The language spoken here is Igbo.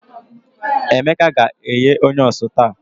Emeka ga-eghe Onions taa